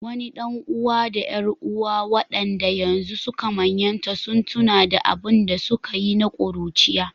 Wani ɗan’uwa da ƴar’uwa, waɗanda yanzu suka manyanta, sun tuna da abin da suka yi na ƙuruciya.